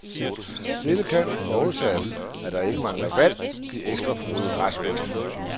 Dette kan, forudsat, at der er ikke mangler vand, give ekstra frodig græsvækst.